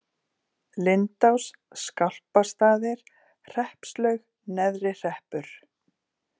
Lindás, Skálpastaðir, Hreppslaug, Neðri-Hreppur